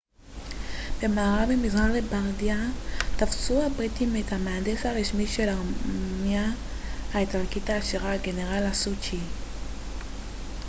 במארב ממזרח לבארדיה תפסו הבריטים את המהנדס הראשי של הארמיה האיטלקית העשירית הגנרל לסטוצ'י